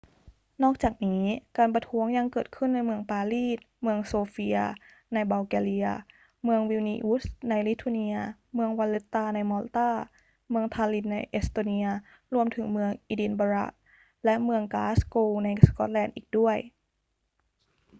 นอกจากนี้ การประท้วงยังเกิดขึ้นในเมืองปารีส เมืองโซเฟียในบัลแกเรีย เมืองวิลนีอุสในลิทัวเนีย เมืองวัลเลตตาในมอลตา เมืองทาลลินน์ในเอสโตเนีย รวมถึงเมืองเอดินบะระและเมืองกลาสโกว์ในสกอตแลนด์อีกด้วย